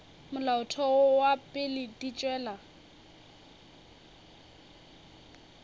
molaotheo wa pele di tšwela